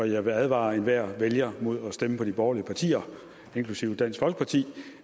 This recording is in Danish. jeg vil advare enhver vælger mod at stemme på de borgerlige partier inklusive dansk folkeparti